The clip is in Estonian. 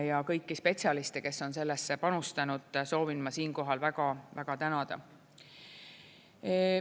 Ja kõiki spetsialiste, kes on sellesse panustanud, soovin ma siinkohal väga tänada.